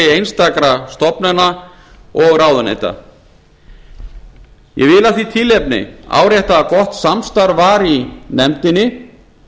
einstakra stofnana og ráðuneyta af því tilefni vil ég árétta að gott samstarf var í nefndinni